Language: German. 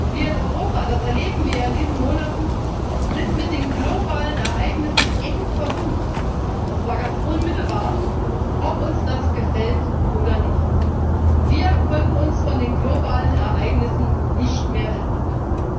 Wir in Europa das erleben wir in diesen Monaten sind mit den globalen Ereignissen eng verbunden, und zwar ganz unmittelbar ob uns das gefällt oder nicht. Wir können uns von den globalen Ereignissen nicht mehr entkoppeln.